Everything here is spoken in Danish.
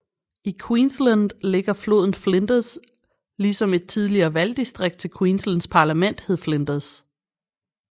I Queensland ligger floden Flinders ligesom et tidligere valgdistrikt til Queenslands parlament hed Flinders